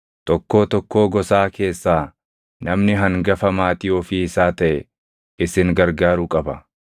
Tokkoo tokkoo gosaa keessaa namni hangafa maatii ofii isaa taʼe isin gargaaruu qaba.